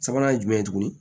Sabanan ye jumɛn ye tuguni